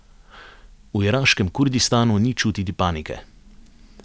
V iraškem Kurdistanu ni čutiti panike.